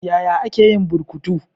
Yaya ake yin burkutu?